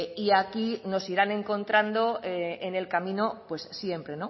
y aquí nos irán encontrando en el camino siempre